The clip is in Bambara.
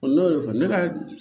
ne y'o de fɔ ne ka